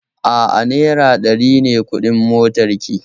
A'a, naira ɗari ne kuɗin motarki